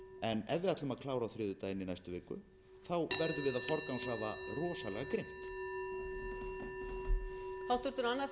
en ef við ætlum að klára á þriðjudaginn í næstu viku verðum við að forgangsraða rosalega grimmt